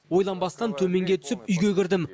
ойланбастан төменге түсіп үйге кірдім